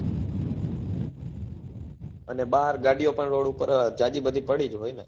અને બાર ગાડીઓ પણ road પર જાજી બધી પડી જ હોય ને?